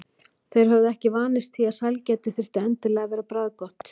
Þeir höfðu ekki vanist því að sælgæti þyrfti endilega að vera bragðgott.